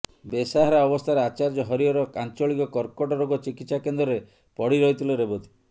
ବେସାହାରା ଅବସ୍ଥାରେ ଆଚାର୍ଯ୍ୟ ହରିହର ଆଞ୍ଚଳିକ କର୍କଟ ରୋଗ ଚିକିତ୍ସା କେନ୍ଦ୍ରରେ ପଡିରହିଥିଲେ ରେବତୀ